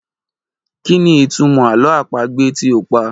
Kí ni ìtumọ̀ àlọ́ àpagbè tí o pa?